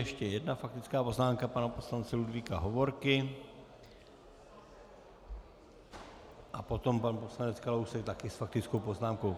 Ještě jedna faktická poznámka pana poslance Ludvíka Hovorky a potom pan poslanec Kalousek také s faktickou poznámkou.